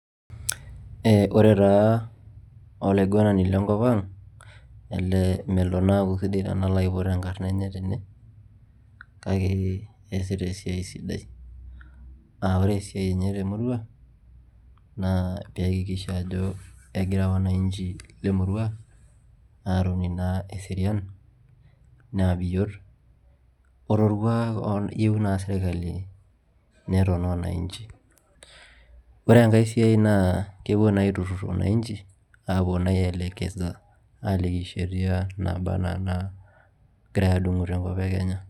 Ore taa Olaiguanani le nkop ang' elee melo naa aku sidai tenalo aiput enkarna enye tene kake eesita esiai sidai aa ore esiai enye te murua naa keaikikisha ajo egira wananchi le murua aatoni naa eserian naa biyoot o tolkuak naa oyieu serikali neton wananchi ore engae siai naa kepuo naa aiturrur wananchi apuo naa aielekeza aliki sheria naaba naa enaa enagirai adung'u tolosho le Kenya